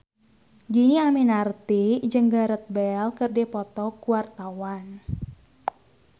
Dhini Aminarti jeung Gareth Bale keur dipoto ku wartawan